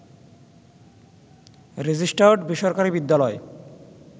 registered বেসরকারি বিদ্যালয়